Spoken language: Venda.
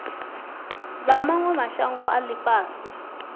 vha mawe mashango a ifhasi